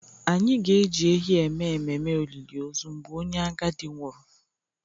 Anyị ga-eji ehi eme ememe olili ozu mgbe onye agadi nwụrụ